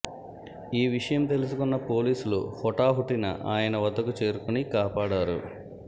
ఈ విషయం తెలుసుకున్న పోలీసులు హుటాహుటిన ఆయన వద్దకు చేరుకుని కాపాడారు